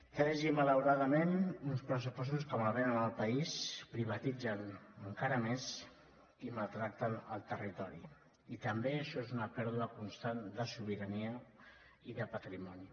tres i malauradament uns pressupostos que malvenen el país privatitzen encara més i maltracten el territori i també això és una pèrdua constant de sobirania i de patrimoni